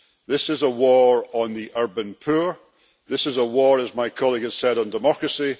This is a war on the urban poor this is a war, as my colleague said, on democracy